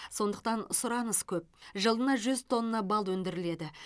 сондықтан сұраныс көп жылына жүз тонна бал өндіріледі